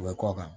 U bɛ kɔ kan